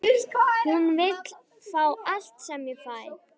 Hún vill fá allt sem ég fæ.